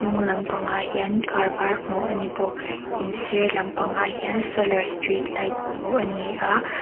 ngaw lampangah hian kâr vâr hmuh a ni bawk in sîr lampangah hian sawlar street light hmuh a ni a.